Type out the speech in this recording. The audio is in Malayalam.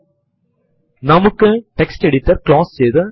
ഉറപ്പു വരുത്തുന്നതിനായി ഇത് വീണ്ടും എന്റർ ചെയ്യുക